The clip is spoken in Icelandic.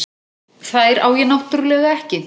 Þær á ég náttúrlega ekki.